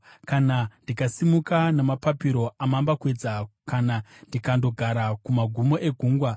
Kana ndikasimuka namapapiro amambakwedza, kana ndikandogara kumagumo egungwa,